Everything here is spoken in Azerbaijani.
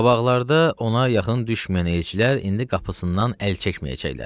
Qabaqlarda ona yaxın düşməyən elçilər indi qapısından əl çəkməyəcəklər.